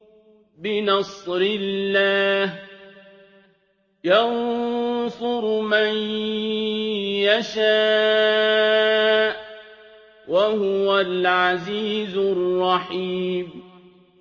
بِنَصْرِ اللَّهِ ۚ يَنصُرُ مَن يَشَاءُ ۖ وَهُوَ الْعَزِيزُ الرَّحِيمُ